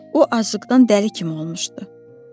O aclıqdan dəli kimi olmuşdu.